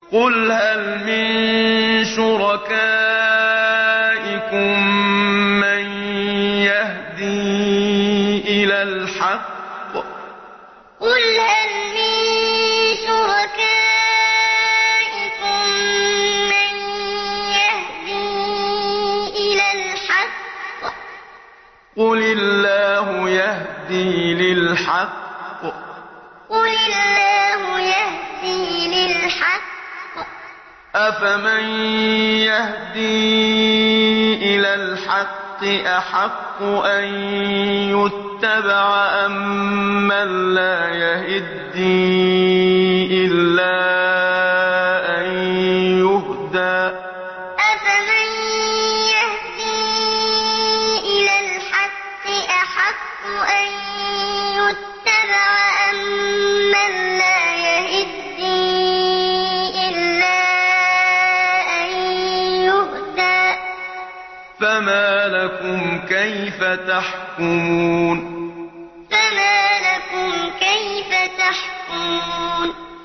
قُلْ هَلْ مِن شُرَكَائِكُم مَّن يَهْدِي إِلَى الْحَقِّ ۚ قُلِ اللَّهُ يَهْدِي لِلْحَقِّ ۗ أَفَمَن يَهْدِي إِلَى الْحَقِّ أَحَقُّ أَن يُتَّبَعَ أَمَّن لَّا يَهِدِّي إِلَّا أَن يُهْدَىٰ ۖ فَمَا لَكُمْ كَيْفَ تَحْكُمُونَ قُلْ هَلْ مِن شُرَكَائِكُم مَّن يَهْدِي إِلَى الْحَقِّ ۚ قُلِ اللَّهُ يَهْدِي لِلْحَقِّ ۗ أَفَمَن يَهْدِي إِلَى الْحَقِّ أَحَقُّ أَن يُتَّبَعَ أَمَّن لَّا يَهِدِّي إِلَّا أَن يُهْدَىٰ ۖ فَمَا لَكُمْ كَيْفَ تَحْكُمُونَ